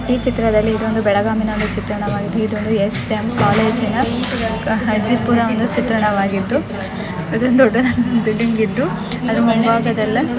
ಈ ಚಿತ್ರದಲ್ಲಿ ಇದೊಂದು ಬೆಲಗಾಮಿನ ಚಿತ್ರಣ ವಾಗಿದ್ದು ಇದೊಂದು ಎಸ್ ಎಮ್ ಕಾಲೇಜಿನ ಹಸಿಪುರಾಣ ಚಿತ್ರಣ ಮಾಗಿದ್ದು ಇದು ದೊಡ್ಡದಾದ ಬಿಲ್ಡಿಂಗ್ ಇದ್ದು ಇದ್ರ್ ಮುಂಭಾಗದಲ್ಲೇ --